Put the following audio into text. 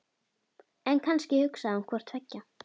En kannski hugsaði hún hvort tveggja.